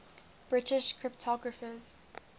british cryptographers